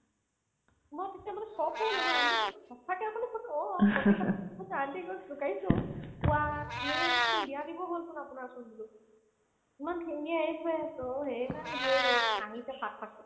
আমাৰ তেতিয়ালৈকে shock গ'লো ন aunty তো সচাকে আপুনি ক'ত অ অ বুজিছা aunty ক মই জোকাইছো ৱাহ্! জিয়াৰি হ'তক্চোন বিয়া দিব হ'লচোন আপোনাৰচোন বোলো ইমান ধুনীয়ায়ে হৈ আছে অ' সেইকাৰণে জীঐ বেলেগকে আহিছে ফাক ফাককে